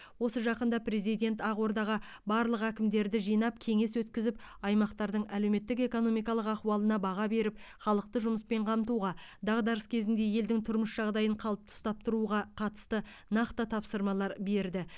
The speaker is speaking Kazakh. осы жақында президент ақордаға барлық әкімді жинап кеңес өткізіп аймақтардың әлеуметтік экономикалық ахуалына баға беріп халықты жұмыспен қамтуға дағдарыс кезінде елдің тұрмыс жағдайын қалыпты ұстап тұруға қатысты нақты тапсырмалар берді